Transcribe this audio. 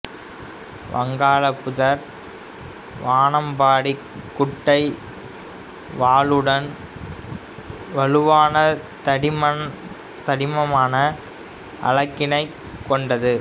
வங்காள புதர் வானம்பாடி குட்டை வாலுடன் வலுவான தடிமனான அலகினைக் கொண்டது